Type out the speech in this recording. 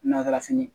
Nakala fini